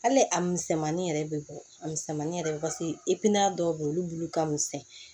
Hali a misɛnmanin yɛrɛ bɛ bɔ a misɛnmanin yɛrɛ paseke dɔw bɛ ye olu bulu ka misɛn